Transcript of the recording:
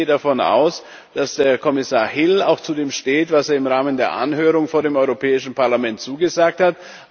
Ich gehe davon aus, dass Kommissar Hill auch zu dem steht, was er im Rahmen der Anhörung vor dem Europäischen Parlament zugesagt hat.